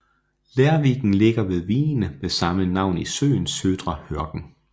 Lerviken ligger ved vigen med samme navn i søen Södra Hörken